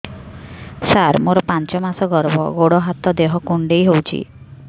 ସାର ମୋର ପାଞ୍ଚ ମାସ ଗର୍ଭ ଗୋଡ ହାତ ଦେହ କୁଣ୍ଡେଇ ହେଉଛି